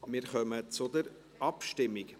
Wir kommen zur Abstimmung.